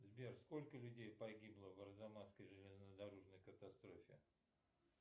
сбер сколько людей погибло в арзамасской железнодорожной катастрофе